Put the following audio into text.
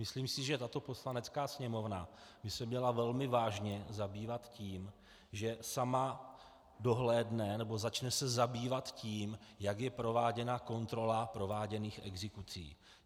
Myslím si, že tato Poslanecká sněmovna by se měla velmi vážně zabývat tím, že sama dohlédne, nebo začne se zabývat tím, jak je prováděna kontrola prováděných exekucí.